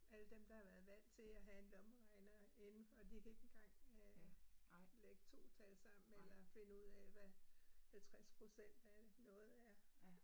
Alle dem, der har været vant til at have en lommeregner indenfor, de kan ikke engang øh lægge 2 tal sammen eller finde ud af, hvad 50 procent af det noget er